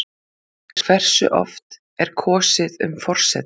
Hversu oft er kosið um forseta?